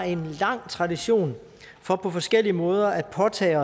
en lang tradition for på forskellige måder at påtage